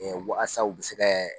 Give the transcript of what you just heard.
waasa u bi se kɛ